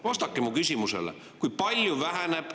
Vastake mu küsimusele: kui palju väheneb …